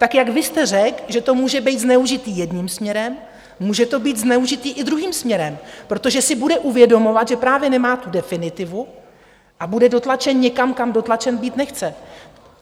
Tak jak vy jste řekl, že to může být zneužito jedním směrem, může to být zneužito i druhým směrem, protože si bude uvědomovat, že právě nemá tu definitivu, a bude dotlačen někam, kam dotlačen být nechce.